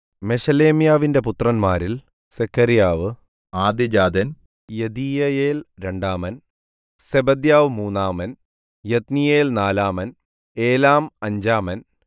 മെശേലെമ്യാവിന്റെ പുത്രന്മാരിൽ സെഖര്യാവ് ആദ്യജാതൻ യെദീയയേൽ രണ്ടാമൻ സെബദ്യാവ് മൂന്നാമൻ യത്നീയേൽ നാലാമൻ ഏലാം അഞ്ചാമൻ